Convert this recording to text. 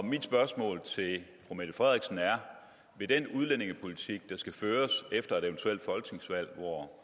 mit spørgsmål til fru mette frederiksen er vil den udlændingepolitik der skal føres efter et eventuelt folketingsvalg hvor